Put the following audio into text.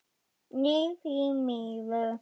Nei, því miður.